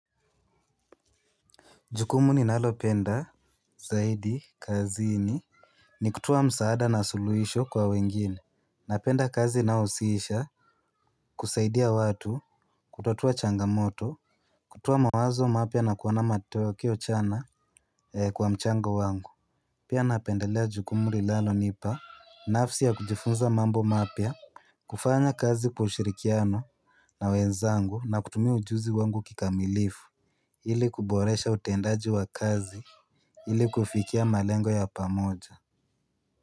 Jukumu ni nalo penda zaidi kazini. Ni kutoa msaada na suluhisho kwa wengine na penda kazi inayohusisha kusaidia watu, kutatua changamoto. Kutoa mawazo mapya na kuona matokeo chana kwa mchango wangu. Pia napendelea jukumu li nalo nipa nafsi ya kujifunza mambo mapya. Kufanya kazi kwa ushirikiano na wenzangu na kutumia ujuzi wangu kikamilifu ili kuboresha utendaji wa kazi ili kufikia malengo ya pamoja.